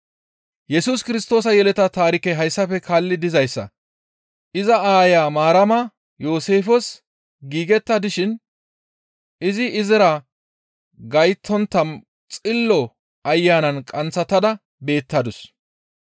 Yesus Kirstoosa yeleta taarikey hayssafe kaalli dizayssa; iza aayo Maarama Yooseefes giigetta dishin izi izira gayttontta Xillo Ayanan qanththatada beettadus.